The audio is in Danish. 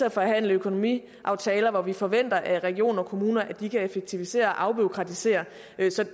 at forhandle økonomiaftaler hvor vi forventer af regioner og kommuner at de kan effektivisere og afbureaukratisere